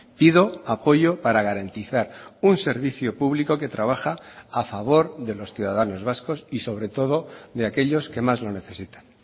pido apoyo para garantizar un servició público que trabaja a favor de los ciudadanos vascos y sobre todo de aquellos que más lo necesitan